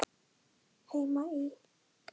Heima í